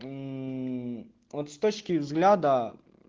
вот с точки взгляда